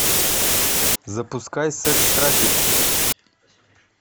запускай секс трафик